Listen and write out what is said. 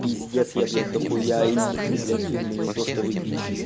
пиздец я блять дохуя элитный блять умный не то что вы бичи